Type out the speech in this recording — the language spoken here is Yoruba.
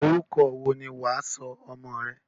Orúkọ wo ni wà á sọ ọmọ rẹ?